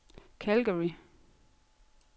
Calgary